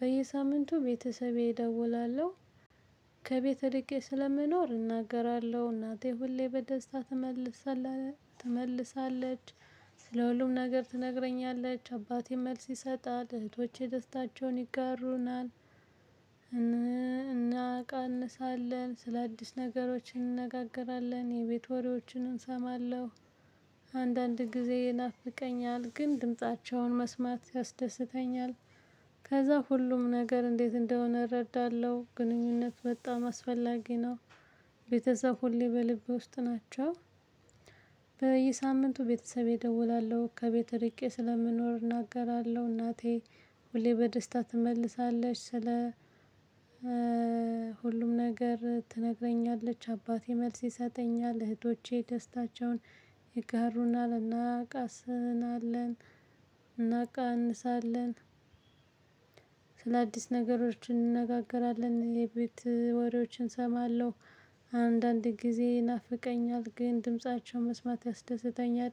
በየሳምንቱ ቤተሰቤ እደውላለሁ ከቤት እርቄ ስለምኖር እናገራለሁ እናቴ ሁሌ በደስታ ትመልሳለች ትመልሳለች። ስለ ሁሉም ነገር ትነግረኛለች አባቴ መልስ ይሰጣል እህቶቼ ደስታቸውን ይጋሩናል። እናቀንሳለን ስለ አዲስ ነገሮች እንነጋገራለን የቤት ወሬዎችን እንሰማለሁ። አንዳንድ ጊዜ ይናፍቀኛል ግን ድምፃቸውን መስማት ያስደስተኛል። ከዛ ሁሉም ነገር እንዴት እንደሆነ እረዳለሁ ግንኙነት በጣም አስፈላጊ ነው። ቤተሰብ ሁሌ በልቤ ውስጥ ናቸው። በየሳምንቱ ቤተሰቤ እደውላለሁ ከቤተ እርቄ ስለምኖር እናገራለሁ እናቴ ሁሌ በደስታ ትመልሳለች። ስለ ሁሉም ነገር ትነግረኛለች አባቴ መልስ ይሰጠኛል እህቶቼ ደስታቸውን ይጋሩናል እናቃስልናለን። እናቃንሳለን። ስለ አዲስ ነገሮች እንነጋገራለን የቤት ወሬዎችን እሰማለሁ። አንዳንድ ጊዜ ይናፍቀኛል ግን ድምፃቸው መስማት ያስደስተኛል።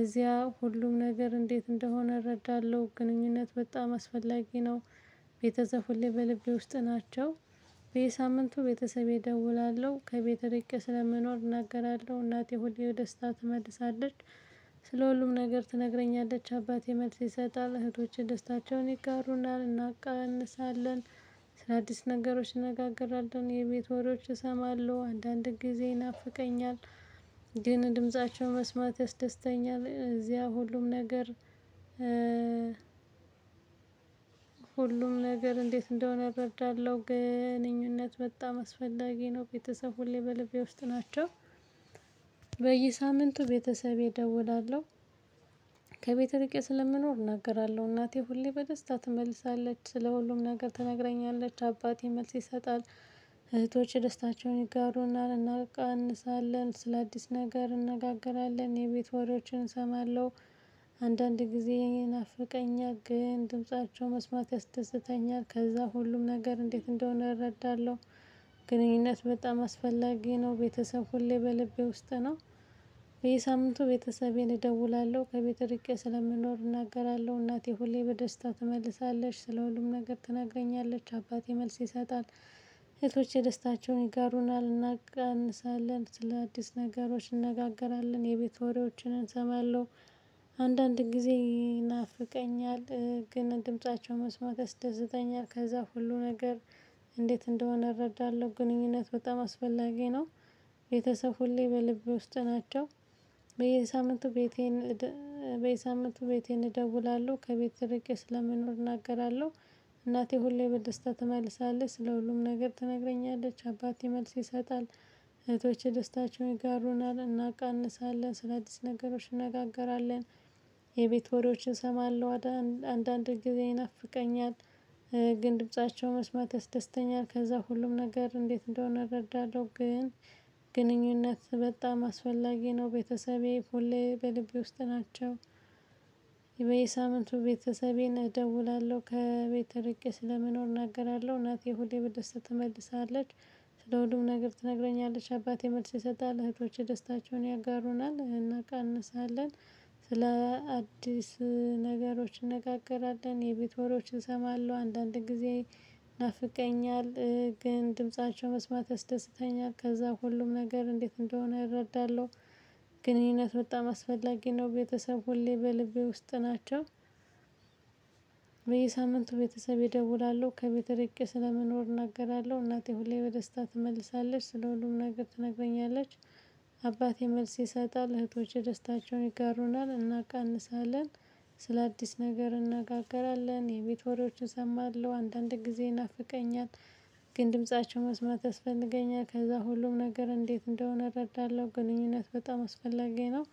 እዚያ ሁሉም ነገር እንዴት እንደሆነ እረዳለሁ ግንኙነት በጣም አስፈላጊ ነው። ቤተሰብ ሁሌ በልቤ ውስጥ ናቸው። በየሳምንቱ ቤተሰቤ እደውላለሁ ከቤት ርቄ ስለመኖር እናገራለሁ እናቴ ሁሌ በደስታ ትመልሳለች። ስለ ሁሉም ነገር ትነግረኛለች አባቴ መልስ ይሰጣል እህቶቼ ደስታቸውን ይጋሩናል እናቃንሳለን። አዲስ ነገሮች እነናገራለን የቤት ወሬዎች እሰማለሁ አንዳንድ ጊዜ ይናፍቀኛል። ግን ድምፃቸው መስማት ያስደስተኛል እዚያ ሁሉም ነገር። ሁሉም ነገር እንዴት እንደሆነ እረዳለሁ ግንኙነት በጣም አስፈላጊ ነው ቤተሰብ ሁሌ በልቤ ውስጥ ናቸው። በየሳምንቱ ቤተሰቤ እደውላለሁ። ከቤት እርቄ ስለምኖር እናገራለሁ እናቴ ሁሌ በደስታ ትመልሳለች ስለሁሉም ነገር ትነግረኛለች አባቴ መልስ ይሰጣል። እህቶቼ ደስታቸውን ይጋሩናል እናቃንሳለን ስለአዲስ ነገር እንነጋገራለን የቤት ወሬዎችን እሰማለሁ። አንዳንድ ጊዜ ይናፍቀኛል ግን ድምፃቸው መስማት ያስደስተኛል ከዛ ሁሉም ነገር እንዴት እንደሆነ እረዳለሁ። ግንኙነት በጣም አስፈላጊ ነው ቤተሰብ ሁሌ በልቤ ውስጥ ነው። ይሄ ሳምንቱ ቤተሰቤን እደውላለሁ ከቤት እርቄ ስለምኖር እናገራለሁ እናቴ ሁሌ በደስታ ትመልሳለች ስለ ሁሉም ነገር ትናገረኛለች አባቴ መልስ ይሰጣል። እህቶቼ ደስታቸውን ይጋሩናል እናቃንሳለን ስለ አዲስ ነገሮች እንነጋገራለን የቤት ወሬዎችን እንሰማለሁ። አንዳንድ ጊዜ ይናፍቀኛል። ግን ድምፃቸው መስመት ያስደሰተኛል ከዛ ሁሉ ነገር። እንዴት እንደሆነ እረዳለሁ ግንኙነት በጣም አስፈላጊ ነው። ቤተሰብ ሁሌ በልቤ ውስጥ ናቸው። በየሳምንቱ ቤቴን በየሳምንቱ ቤቴን እደውላለሁ ከቤት እርቄ ስለምኖር እናገራለሁ። እናቴ ሁሌ በደስታ ትመልሳለች ስለ ሁሉም ነገር ትነግረኛለች አባቴ መልስ ይሰጣል። እህቶቼ ደስታቸውን ይጋሩናል እናቃንሳለን ስለአዲስ ነገሮች እንነጋገራለን። የቤት ወሬዎችን እሰማለሁ። አንዳንድ ጊዜ ይናፍቀኛል። ግን ድምፃቸው መስማት ያስደስተኛል ከዛ ሁሉም ነገር እንዴት እንደሆነ እረዳለሁ ግን። ግንኙነት በጣም አስፈላጊ ነው ቤተሰቤ ሁሌ በልቤ ውስጥ ናቸው። በየሳምንቱ ቤተሰቤን እደውላለሁ ከቤት እርቄ ስለምኖር እናገራለሁ እናቴ ሁሌ በደስታ ትመልሳለች። ስለ ሁሉም ነገር ትነግረኛለች አባቴ መልስ ይሰጣል እህቶቼ ደስታቸውን ያጋሩናል እናቃንሳለን። ስለ አዲስ ነገሮች እንነጋገራለን የቤት ወሬዎች እንሰማለሁ አንዳንድ ጊዜ። ይናፍቀኛል ግን ድምፃቸው መስማት ያስደስተኛል ከዛ ሁሉም ነገር እንዴት እንደሆነ እረዳለሁ። ግንኙነት በጣም አስፈላጊ ነው ቤተሰብ ሁሌ በልቤ ውስጥ ናቸው። በየሳምንቱ ቤተሰብ ይደውላሉ ከቤት እርቄ ስለምኖር እናገራለሁ እናቴ ሁሌ በደስታ ትመልሳለች ስለ ሁሉም ነገር ትነግረኛለች። አባቴ መልስ ይሰጣል እህቶቼ ደስታቸውን ይጋሩናል እናቃንሳለን። ስለ አዲስ ነገር እነናጋገራለን የቤት ወሬዎችን እሰማለሁ አንዳንድ ጊዜ ይናፍቀኛል። ግን ድምፃቸው መስማት ያስፈልገኛል ከዛ ሁሉም ነገር እንዴት እንደሆነ እረዳለሁ ግንኙነት በጣም አስፈላጊ ነው።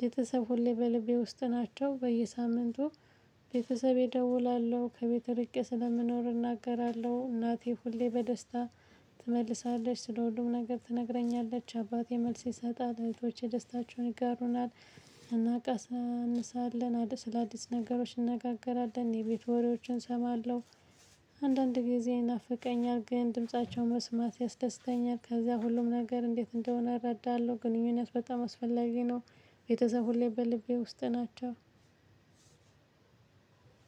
ቤተሰብ ሁሌ በልቤ ውስጥ ናቸው በየሳምንቱ። ቤተሰቤ እደውላለሁ ከቤት ርቄ ስለምኖር እናገራለሁ እናቴ ሁሌ በደስታ ትመልሳለች ስለሁሉም ነገር ትነግረኛለች አባቴ መልስ ይሰጣል እህቶቼ ደስታችሁን ይጋሩናል። እናቃሳንሳለን አዲስ ስለ አዲስ ነገሮች እንነጋገራለን የቤት ወሬዎችን እሰማለሁ። አንዳንድ ጊዜ ይናፍቀኛል ግን ድምፃቸው መስማት ያስደስተኛል ከዛ ሁሉም ነገር እንዴት እንደሆነ እረዳለሁ ግንኙነት በጣም አስፈላጊ ነው። ቤተሰብ ሁሌ በልቤ ውስጥ ናቸው።